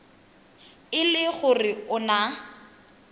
e le gore o na